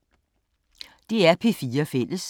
DR P4 Fælles